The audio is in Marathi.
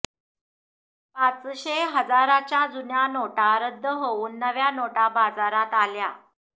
पाचशे हजाराच्या जुन्या नोटा रद्द होऊन नव्या नोटा बाजारात आल्या